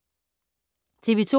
TV 2